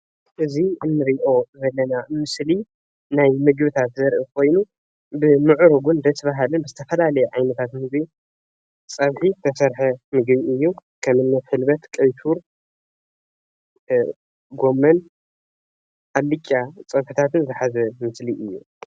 እዚ እንሪኦ ዘለና ምስሊ ምግቢ ብምዕሩጉን ደስ በሃሊ ዝተፈላለየ ዓይነታት ምግብን ፀብሒ ዝተሰረሐ ጎመን ኣልጫ ፀብሒታት ዝሓዘ ምግቢ እዩ፡፡